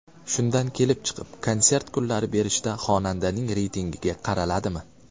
Shundan kelib chiqib, konsert kunlari berishda xonandaning reytinggiga qaraladimi ?